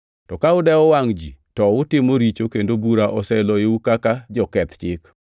To ka udewo wangʼ ji to utimo richo kendo bura oseloyou kaka joketh chik.